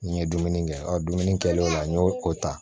N ye dumuni kɛ dumuni kɛlen o ta